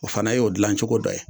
O fana y'o gilancogo dɔ ye